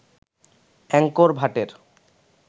Angkor ভাটের